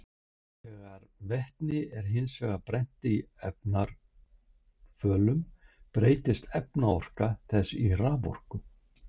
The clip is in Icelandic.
Þegar vetni er hins vegar brennt í efnarafölum breytist efnaorka þess í raforku.